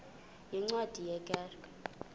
yeencwadi ye kerk